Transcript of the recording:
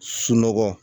Sunɔgɔ